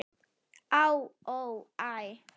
Á, ó, æ